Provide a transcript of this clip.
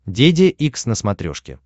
деде икс на смотрешке